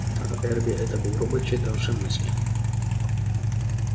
а эрби это был робот читавший мысли